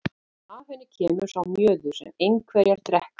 En af henni kemur sá mjöður sem einherjar drekka.